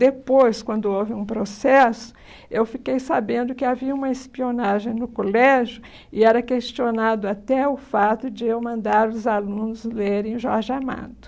Depois, quando houve um processo, eu fiquei sabendo que havia uma espionagem no colégio e era questionado até o fato de eu mandar os alunos lerem Jorge Amado.